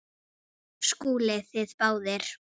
SKÚLI: Þið báðir?